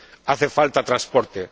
Hace falta transporte.